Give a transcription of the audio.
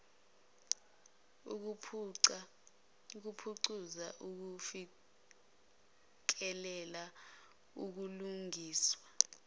ukuphucuza ukufikelela kubulungiswa